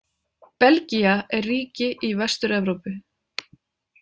Belgía er ríki í Vestur-Evrópu.